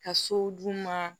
Ka sow d'u ma